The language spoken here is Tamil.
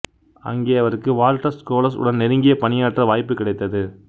அங்கே அவருக்கு வால்டர் ஸ்க்லோஸ் உடன் நெருங்கிப் பணியாற்ற வாய்ப்பு கிடைத்தது